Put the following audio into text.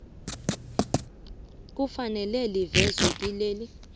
kufanele livezwe kileli